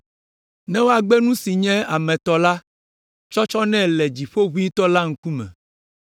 Ne woagbe nu si nye ame tɔ la tsɔtsɔ nɛ le Dziƒoʋĩtɔ la ŋkume,